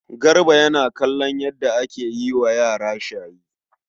Garba yana kallon yadda ake yi wa yara shayi.